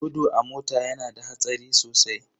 Gudu a mota yana da hatsari sosai.